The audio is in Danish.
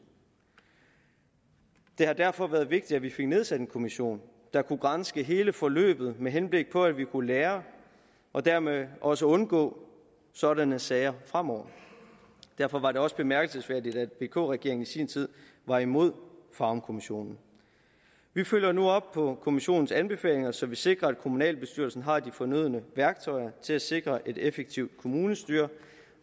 det har derfor været vigtigt at vi fik nedsat en kommission der kunne granske hele forløbet med henblik på at vi kunne lære og dermed også undgå sådanne sager fremover derfor var det også bemærkelsesværdigt at vk regeringen i sin tid var imod farum kommissionen vi følger nu op på kommissionens anbefalinger så vi sikrer at kommunalbestyrelsen har de fornødne værktøjer til at sikre et effektivt kommunestyre og